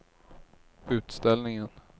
utställningen